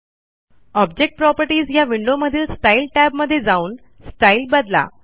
object properties या विंडोमधील style tab मध्ये जाऊन स्टाईल बदला